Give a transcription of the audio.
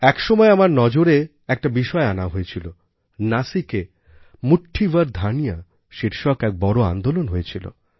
এক সময়ে আমার নজরে একটা বিষয় আনা হয়েছিল নাসিকে মুঠ্ঠি ভর ধান্য শীর্ষক এক বড় আন্দোলন হয়েছিল